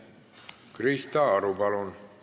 Krista Aru, palun!